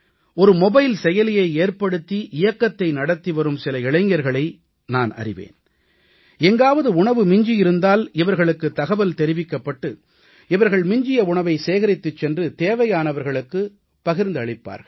ஒரு மொபைல் செயலியை ஏற்படுத்தி இயக்கத்தை நடத்தி வரும் சில இளைஞர்களை நான் அறிவேன் எங்காவது உணவு மிஞ்சி இருந்தால் இவர்களுக்குத் தகவல் தெரிவிக்கப்பட்டு இவர்கள் மிஞ்சிய உணவை சேகரித்துச் சென்று தேவையானவர்களுக்கு அதைப் பகிர்ந்தளிப்பார்கள்